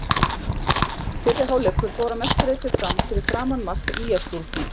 Fyrri hálfleikur fór að mestu leiti fram fyrir framan mark ÍR-stúlkna.